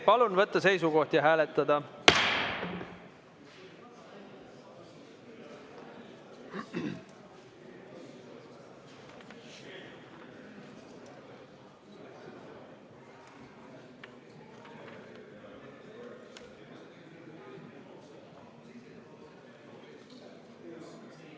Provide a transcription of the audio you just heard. Palun võtta seisukoht ja hääletada!